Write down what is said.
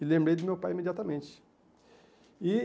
E lembrei do meu pai imediatamente. E